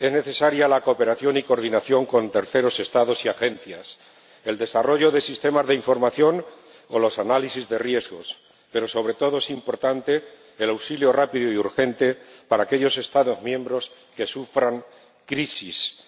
Son necesarios la cooperación y coordinación con terceros Estados y agencias, el desarrollo de sistemas de información o los análisis de riesgos, pero, sobre todo, es importante el auxilio rápido y urgente para aquellos Estados miembros que sufran crisis